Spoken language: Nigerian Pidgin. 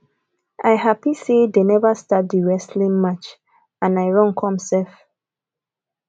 i happy sey dey never start the wrestling match and i run come sef